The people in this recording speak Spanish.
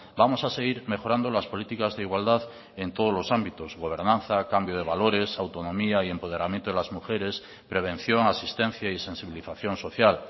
vamos a seguir mejorando las políticas de igualdad en todos los ámbitos gobernanza cambio de valores autonomía y empoderamiento de las mujeres prevención asistencia y sensibilización social